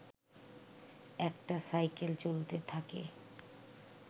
একটা সাইকেল চলতে থাকে